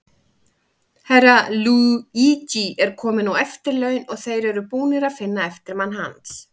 Herra Luigi er kominn á eftirlaun, og þeir eru búnir að finna eftirmann hans.